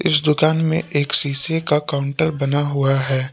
इस दुकान में एक सीसे का काउंटर बना हुआ है।